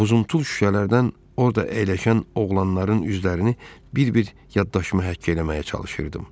Buzumtul şüşələrdən orada əyləşən oğlanların üzlərini bir-bir yaddaşıma həkk eləməyə çalışırdım.